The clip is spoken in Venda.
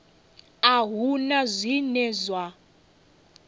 a hu na zwine zwa